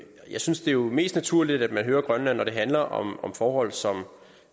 synes det er mest naturligt at man hører grønland når det handler om om forhold som